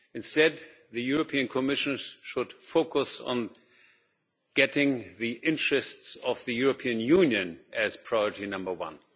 Instead the Commission should focus on placing the interests of the European Union as priority number one.